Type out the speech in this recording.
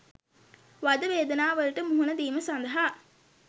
වද වේදනාවලට මුහුණ දීම සඳහා